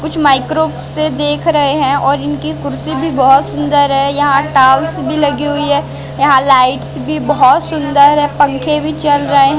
कुछ माइक्रो से देख रहे है और इनकी कुर्सी भी बहोत सुन्दर है यहां टायल्स भी लगी हुई है यहां लाइट्स भी बहोत सुन्दर है पंखे भी चल रहे हैं।